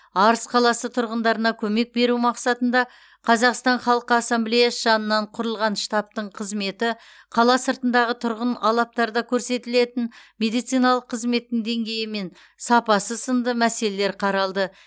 арыс қаласы тұрғындарына көмек беру мақсатында қазақстан халқы ассамблеясы жанынан құрылған штабтың қызметі қала сыртындағы тұрғын алаптарда көрсетілетін медициналық қызметтің деңгейі мен сапасы сынды мәселелер қаралды